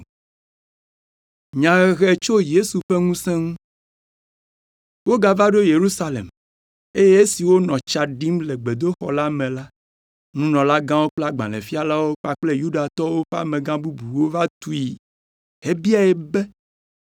Wogava ɖo Yerusalem, eye esi wònɔ tsa ɖim le gbedoxɔ la me la, nunɔlagãwo kple agbalẽfialawo kpakple Yudatɔwo ƒe amegã bubuwo va tui hebiae be,